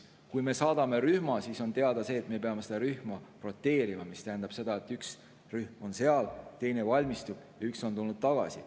Kui me saadame rühma, siis on teada, et me peame seda rühma roteerima, mis tähendab, et üks rühm on seal, teine valmistub ja üks on tulnud tagasi.